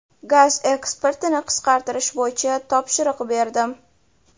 Gaz eksportini qisqartirish bo‘yicha topshiriq berdim.